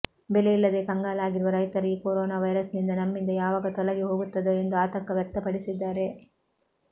ಬೆಲೆ ಇಲ್ಲದೆ ಕಂಗಾಲಾಗಿರುವ ರೈತರು ಈ ಕೊರೋನಾ ವೈರಸ್ ನಮ್ಮಿಂದ ಯಾವಾಗ ತೊಲಗಿಹೋಗುತ್ತದೋ ಎಂದು ಆತಂಕ ವ್ಯಕ್ತಪಡಿಸಿದ್ದಾರೆ